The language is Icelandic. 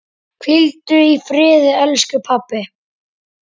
Hvíldu í friði, elsku pabbi.